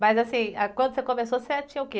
Mas assim, ah, quando você começou, você o quê?